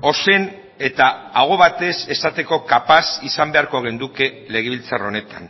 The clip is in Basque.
ozen eta aho batez esateko kapaz izan beharko genuke legebiltzar honetan